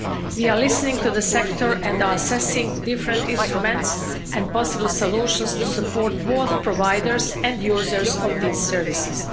We are listening to the sector and are assessing different instruments and possible solutions to support both providers and users of these services.